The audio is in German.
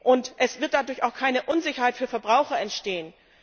Und es wird dadurch auch keine Unsicherheit für Verbraucher entstehen.